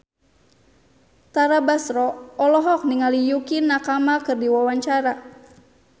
Tara Basro olohok ningali Yukie Nakama keur diwawancara